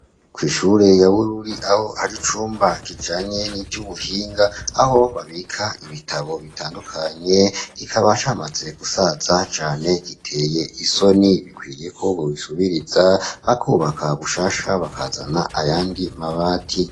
Kw'ishure ya Bururi aho aricumba kijanye n'ivy'ubuhinga aho babika ibitabo bitandukanye ikabashamaze gusaza cane giteye isoni bikwiye ko bubisubiriza bakubaka gushasha bakazana ayandi mabati.